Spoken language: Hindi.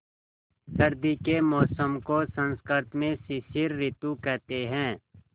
सर्दी के मौसम को संस्कृत में शिशिर ॠतु कहते हैं